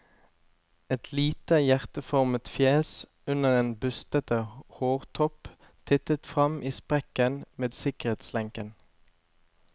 Et lite hjerteformet fjes under en bustete hårtopp tittet fram i sprekken med sikkerhetslenken.